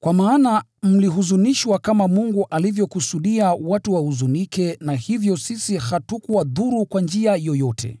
Kwa maana mlihuzunishwa kama Mungu alivyokusudia watu wahuzunike na hivyo sisi hatukuwadhuru kwa njia yoyote.